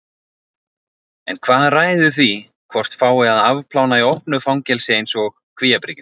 En hvað ræður því hvort fái að afplána í opnu fangelsi eins og Kvíabryggju?